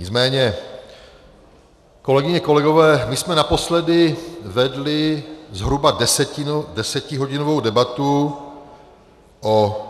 Nicméně, kolegyně, kolegové, my jsme naposledy vedli zhruba desetihodinovou debatu o